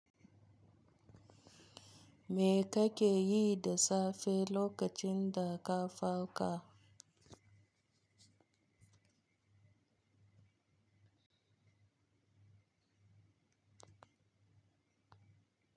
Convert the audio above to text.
Me kake yi da safe lokacin da ka farka?